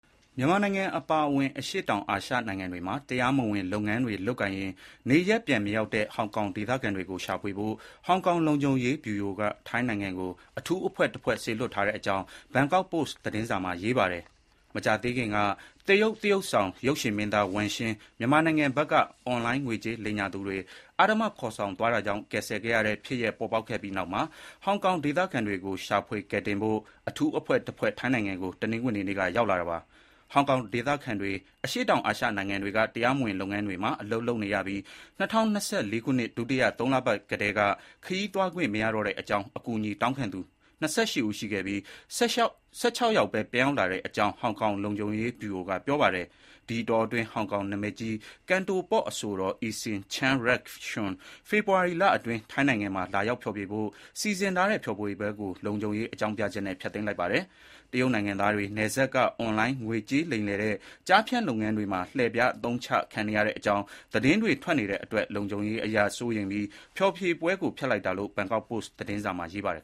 မြန်မာနိုင်ငံအပါအဝင် အရှေ့တောင်အာရှနိုင်ငံတွေမှာ တရားမဝင် လုပ်ငန်းတွေလုပ်ကိုင်ရင်း နေရပ်ပြန်မရောက်တဲ့ ဟောင်ကောင်ဒေသခံတွေကို ရှာဖွေဖို့ ဟောင်ကောင် လုံခြုံရေးဗျူရိုက ထိုင်းနိုင်ငံကို အထူးအဖွဲ့တဖွဲ့ စေလွှတ်ထားကြောင်း ဘန်ကောက်ပို့စ်သတင်းစာမှာ ရေးပါတယ်။ မကြာသေးခင်က တရုတ် သရုပ်ဆောင် ရုပ်ရှင်မင်းသား Wang Xing မြန်မာနိုင်ငံဘက်က အွန်လိုင်း ငွေကြေးလိမ်ညာသူတွေ အဓမ္မခေါ်ဆောင်သွားတာကြောင့် ကယ်ဆယ်ခဲ့ရတဲ့ ဖြစ်ရပ်ပေါ်ပေါက်ခဲ့ ပြီးနောက်မှာ ဟောင်ကောင်ဒေသခံတွေကို ရှာဖွေကယ်တင်ဖို့ အထူးအဖွဲ့ ထိုင်းနိုင်ငံကို တနင်္ဂနွေနေ့က ရောက်တာလာပါ။ ဟောင်ကောင်ဒေသခံတွေ အရှေ့တောင်အာရှ နိုင်ငံတွေက တရားမဝင် လုပ်ငန်းတွေ မှာ အလုပ်လုပ်နေရပြီး ၂၀၂၄ ခုနှစ် ဒုတိယ သုံးလပတ်ကတည်းက ခရီးသွားခွင့်မရတော့တဲ့အကြောင်း အကူအညီတောင်းခံသူ ၂၈ ဦး ရှိခဲ့ပြီး ၁၆ ယောက်ပဲ ပြန်ရောက်လာကြောင်း ဟောင်ကောင်လုံခြုံရေး ဗျူရိုက ပြောပါတယ်။ ဒီအတောအတွင်း ဟောင်ကောင် နာမည်ကြီး Cantopop အဆိုတော် Eason Chan Yik-shun ဖေဖေါ်ဝါရီလအတွင်း ထိုင်းနိုင်ငံမှာ လာရောက်ဖျော်ဖြေဖို့ စီစဉ်ထားတဲ့ ဖျော်ဖြေပွဲကို လုံခြုံရေး အကြောင်းပြချက်နဲ့ ဖျက်သိမ်းလိုက်ပါတယ်။ တရုတ်နိုင်ငံသားတွေ နယ်စပ်က အွန်လိုင်း ငွေကြေးလိမ်လည်တဲ့ ကျားဖြန့်လုပ်ငန်းတွေမှာ လှည့်ဖျားအသုံးချခံနေရတဲ့အကြောင်း သတင်းတွေထွက်နေတဲ့အတွက် လုံခြုံရေးအရ စိုးရိမ်ပြီး ဖျော်ဖြေပွဲကို ဖျက်လိုက်တာလို့ ဘန်ကောက်ပို့စ် သတင်းစာမှာ ရေးပါတယ်